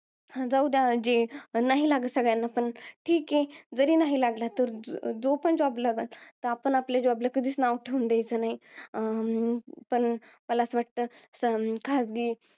जाउद्या. जे नाही लागत सगळ्यांना, पण ठीके. जरी नाही लागला तरी जो पण job लागल त्या आपण आपल्या job ला कधीच नाव ठेऊन द्यायचं नाही. अं पण मला असं वाटतं, अं खाजगी